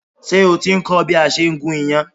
Ṣé o ti ń kọ́ bí a ṣe ń gún iyán?